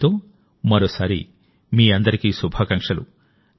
దీంతో మరోసారి మీ అందరికీ శుభాకాంక్షలు